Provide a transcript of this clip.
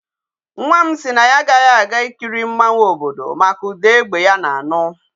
Nwa m si na ya agaghi aga ikiri mmanwu obodo maka uda egbe ya na-anu.